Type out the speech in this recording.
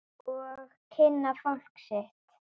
Og kynna fólkið sitt.